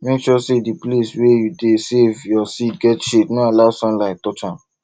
make sure say di place wey you dey save your seed get shade no allow sunlight touch am